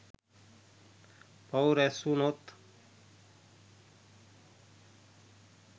පව් රැස්වුනොත්